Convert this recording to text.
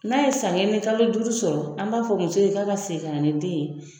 N'a ye san kelen ni kalo duuru sɔrɔ an b'a fɔ muso ye k'a ka segin ka na ni den ye.